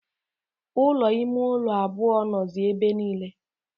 Ụlọ ime ụlọ abụọ nọzi ebe niile.